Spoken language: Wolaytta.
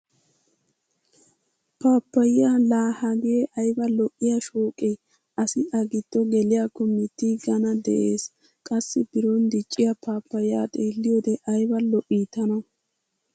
Pappayaa la hagee ayaba lo'iya shooqee! Asi a giddo geliyakko mittigana de'ees. Qassi biron dicciya pappayaya xeeliyode ayba lo"i tana.